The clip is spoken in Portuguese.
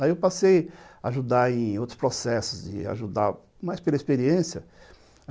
Aí eu passei a ajudar em outros processos e ajudava mais pela experiência.